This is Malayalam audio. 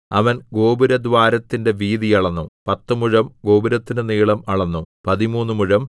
അവൻ ഗോപുരദ്വാരത്തിന്റെ വീതി അളന്നു പത്തുമുഴം ഗോപുരത്തിന്റെ നീളം അളന്നു പതിമൂന്നു മുഴം